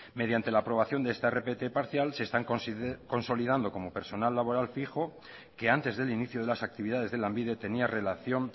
mediante la aprobación de esta rpt parcial se están consolidando como personal laboral fijo que antes del inicio de las actividades de lanbide tenía relación